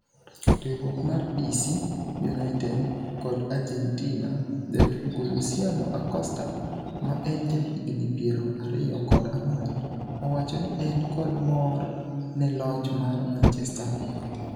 riwruok mar DC United kod Argentina ,Jatugo Luciano Acosta, ma en jahigni piero ariyo kod angwen, owacho ni en kod mor ne loch mar Manchester United.